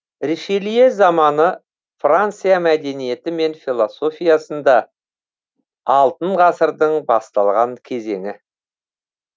ришелье заманы франция мәдениеті мен философиясында алтын ғасырдың басталған кезеңі